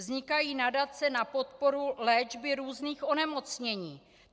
Vznikají nadace na podporu léčby různých onemocnění.